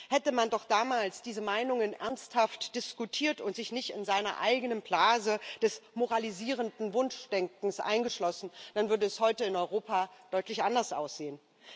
Hätte man doch damals diese Meinungen ernsthaft diskutiert und sich nicht in seiner eigenen Blase des moralisierenden Wunschdenkens eingeschlossen, dann würde es heute in Europa deutlich anders aussehen.